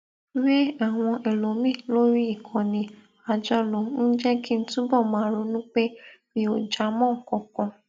wé àwọn ẹlòmíì lórí ìkànnì àjọlò ń jé kí n túbò máa ronú pé mi ò já mó nǹkan kan